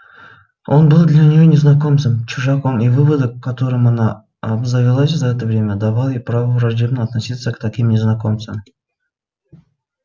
он был для неё незнакомцем чужаком и выводок которым она обзавелась за это время давал ей право враждебно относиться к таким незнакомцам